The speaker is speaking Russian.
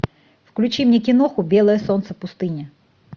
включи мне киноху белое солнце пустыни